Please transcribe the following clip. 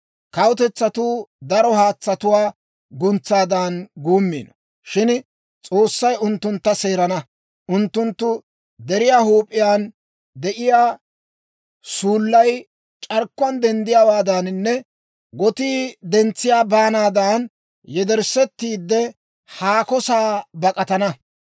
Kawutetsatuu daro haatsatuwaa guntsaadan guummiino; shin S'oossay unttuntta seerana; unttunttu deriyaa huup'iyaan de'iyaa suullay c'arkkuwaan denddiyaawaadaninne gotii dentsiyaa baanaadan, yederssetiide, haako sa'aa bak'atana.